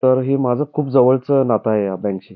तर हि माझं खूप जवळच नातं आहे ह्या बँक शी.